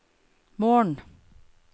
morgen